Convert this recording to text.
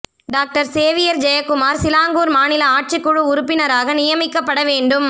doctor Xavier Jayakumar Selangor மாநில ஆட்சிக்குழு உறுப்பினராக நியமிக்கப்பட வேண்டும்